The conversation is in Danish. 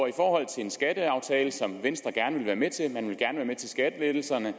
i forhold til en skatteaftale som venstre gerne ville være med til man ville gerne være med til skattelettelserne